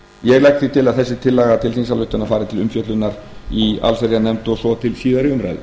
ég legg til að þessi tillaga til þingsályktunar fari til umfjöllunar í allsherjarnefnd og svo til síðari umræðu